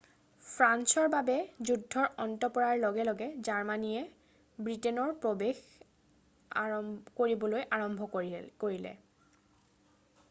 ফ্ৰান্সৰ বাবে যুদ্ধৰ অন্ত পৰাৰ লগে লগে জাৰ্মানীয়ে ব্ৰিটেইনৰ প্ৰৱেশ কৰিবলৈ আৰম্ভ কৰিলে